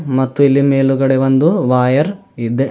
ಮತ್ತು ಇಲ್ಲಿ ಮೇಲುಗಡೆ ಒಂದು ವೈಯರ್ ಇದೆ.